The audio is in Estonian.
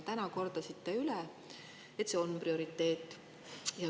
Täna kordasite üle, et see on prioriteet.